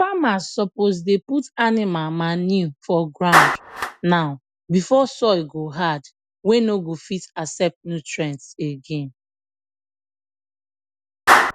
famers suppose dey put animal manure for ground now before soil go hard wey no go fit accept nutrients again